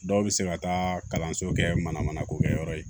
Dɔw bɛ se ka taa kalanso kɛ mana mana ko kɛ yɔrɔ ye